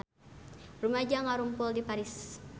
Rumaja ngarumpul di Paris